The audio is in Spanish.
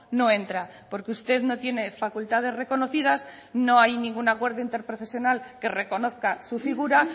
no entra porque usted no tiene facultades reconocidas no hay ningún acuerdo interprofesional que reconozca su figura